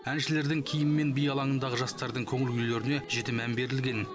әншілердің киімі мен би алаңындағы жастардың көңіл күйлеріне жіті мән берілген